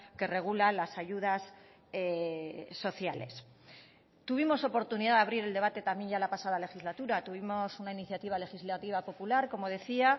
que regula las ayudas sociales tuvimos oportunidad de abrir el debate también ya la pasada legislatura tuvimos una iniciativa legislativa popular como decía